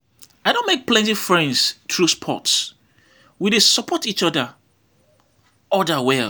I don make plenty friends through sports; we dey support each each other well.